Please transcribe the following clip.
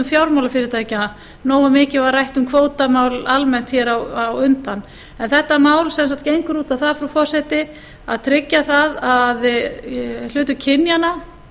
fjármálafyrirtækja nógu mikið var rætt um kvótamál almennt hér á undan en þetta mál sem sagt gengur út á það frú forseti að tryggja það að hlutur kynjanna